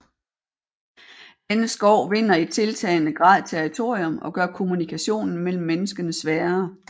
Denne skov vinder i tiltagende grad territorium og gør kommunikationen mellem menneskene sværere